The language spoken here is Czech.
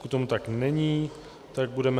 Pokud tomu tak není, tak budeme...